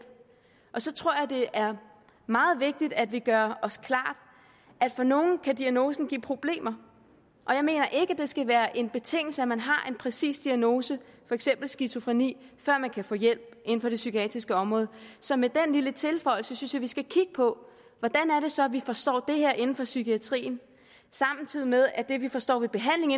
og så tror jeg det er meget vigtigt at vi gør os klart at for nogle kan diagnosen give problemer og jeg mener ikke det skal være en betingelse at man har en præcis diagnose for eksempel skizofreni før man kan få hjælp inden for det psykiatriske område så med den lille tilføjelse synes vi skal kigge på hvordan det så er vi forstår det her inden for psykiatrien samtidig med at det vi forstår ved behandling